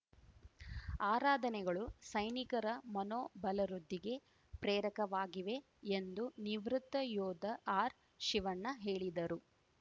ಆರಾಧನೆಗಳು ಸೈನಿಕರ ಮನೋಬಲವೃದ್ಧಿಗೆ ಪ್ರೇರಕವಾಗಿವೆ ಎಂದು ನಿವೃತ್ತ ಯೋಧ ಆರ್‌ಶಿವಣ್ಣ ಹೇಳಿದರು